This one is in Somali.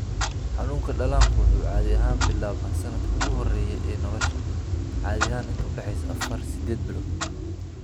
Xanuunka dhallaanku wuxuu caadi ahaan bilaabmaa sanadka ugu horreeya ee nolosha, caadi ahaan inta u dhaxaysa 4 8 bilood.